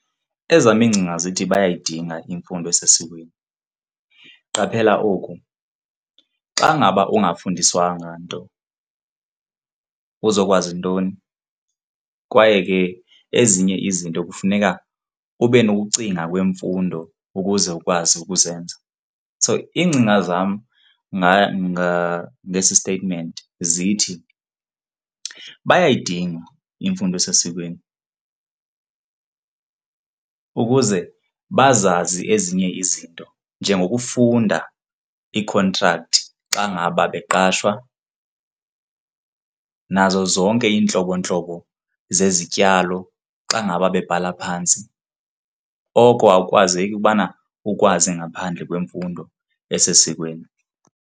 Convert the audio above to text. Ezam iingcinga zithi bayayidinga imfundo esesikweni. Qaphela oku, xa ngaba ungafundiswanga nto, uzokwazi ntoni? Kwaye ke ezinye izinto kufuneka ube nokucinga kwemfundo ukuze ukwazi ukuzenza so iingcinga zam ngesi statement zithi bayayidinga imfundo esesikweni ukuze bazazi ezinye izinto njengokufunda iikhontrakthi xa ngaba beqashwa nazo zonke iintlobo ntlobo zezityalo xa ngaba bebhatala phantsi. Oko akukwazeki ubana ukwazi ngaphandle kwemfundo esesikweni.